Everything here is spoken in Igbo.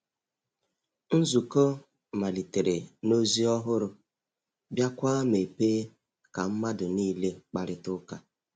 Nzukọ malitere na ozi ọhụrụ, biakwa mepee ka mmadụ niile kparịta ụka.